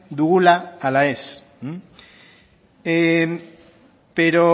dugula ala ez pero